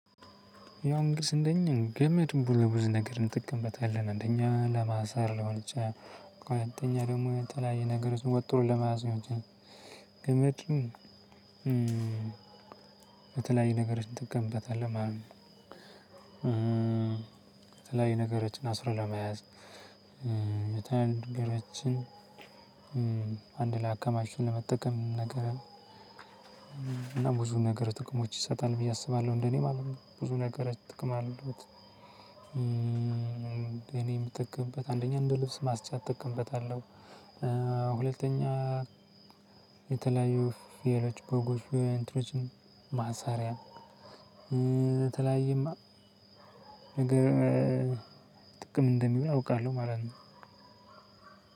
ያው እንግዲስ እንደኔ ገመድን ለብዙ ነገር እንጠቀምበታለን አንደኛ ለማሰር ሊሆን ይችላል፣ ሁለተኛ ደግሞ የተለያየ ነገሮችን ወጥሮ ለመያዝ ሊሆን ይችላል፣ በተለያየ ነገሮች ትጠቀምበታለህ ማለት ነው። የተለያዩ ነገሮችን አስሮ ለመያዝ፣ የተለያዩ ነገሮችን አንድ ላይ አከማችቶ ለመጠቀም ነገር እና ብዙ ነገር ጥቅሞች ይሰጣል ብዬ አስባለሁ እንደኔ ማለት ነው። ብዙ ነገሮች ጥቅም አሉት። እኔ የምጠቀምበት አንደኛ እንደ ልብስ ማስጫ እጠቀምበታለሁ፣ ሁለተኛ የተለያዩ ፍየሎች በጎች ወይም እንትኖችን ማሰሪያ የተለያየ ማ ነገር ጥቅም እንደሚውል አውቃለሁ ማለት ነው።